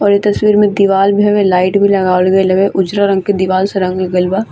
और इ तस्वीर में दीवाल भी हमे लाइट भी लगावल गेल है उजरा रंग से दीवाल से रंगल गेल बा।